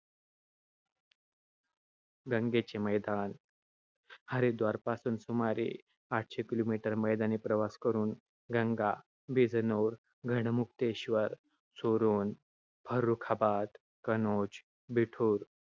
गंगेचे मैदान. हरिद्वारपासून सुमारे आठशे kilometer मैदानी प्रवास करून गंगा बिजनौर, गढ़मुक्तेश्वर, सोरोन, फर्रुखाबाद, कनोज, बिठूर,